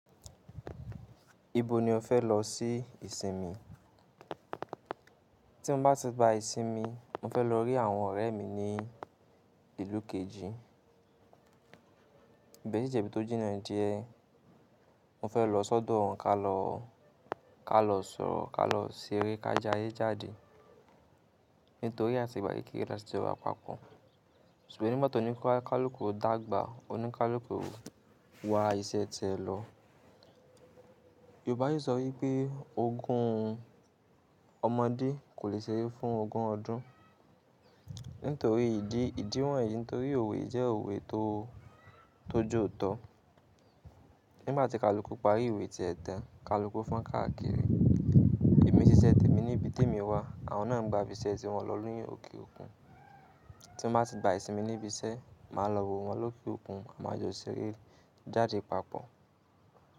Ibo ni o fẹ lọ sí ìsinmi? Tí mo bá ti gba ìsinmi, mo fẹ lọ rí àwọn ọ̀rẹ́ mi ní ìlú kejì. Ibẹ sì jẹ ibi tó jìnnà díẹ̀, mo fẹ lọ sọ́dọ̀ wọn ka lọ, ka lọ sọ̀rọ̀, ka lọ ṣeré, ká jáiye jáde. Nítorí àti ìgbà kékeré lati jọ wa papọ̀. Ṣùgbọ́n nigba toní kalukú dagba, o ní kalukú wá iṣẹ́ tiẹ lọ. Yorùbá si sọ wípé ogun ọmọdé kò le ṣeré fún ogun ọdún. Nítorí ìdí, ìdí wọ̀nyí nítorí òwe jẹ́ òwe tó, tó jòótọ́. Nígbà tí kalukú parí ìwé tí ẹ tán, kalukú fọn káàkiri. Èmi n ṣiṣẹ́ tèmi ní ibi tí èmi wà, àwọn náà ń gba ibi iṣẹ́ ti wọn lọ ni òkè òkun. Tí mo bá ti ba ìsinmi níbi iṣẹ́, màá lọ wo wọn lóke òkun à ma a jọ ṣeré jáde papọ̀.